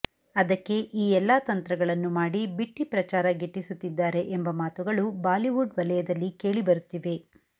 ಅದಕ್ಕೆ ಈ ಎಲ್ಲಾ ತಂತ್ರಗಳನ್ನು ಮಾಡಿ ಬಿಟ್ಟಿ ಪ್ರಚಾರ ಗಿಟ್ಟಿಸುತ್ತಿದ್ದಾರೆ ಎಂಬ ಮಾತುಗಳು ಬಾಲಿವುಡ್ ವಲಯದಲ್ಲಿ ಕೇಳಿಬರುತ್ತಿವೆ